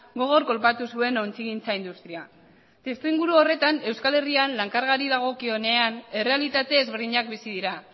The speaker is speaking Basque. gogor kolpatu zuen ontzigintza industria testuinguru horretan euskal herrian lan kargari dagokionean errealitate ezberdinak bizi dira